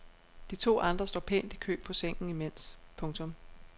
De to andre står pænt i kø på sengen imens. punktum